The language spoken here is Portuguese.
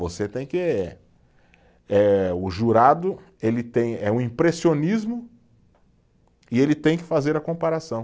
Você tem que eh, o jurado, ele tem, é um impressionismo e ele tem que fazer a comparação.